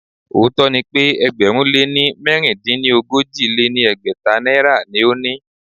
Òótó ni pe ẹgbẹ̀rún lé mẹ̀rindínogójì lé ní ẹgbẹ́ta náírà ni o ni.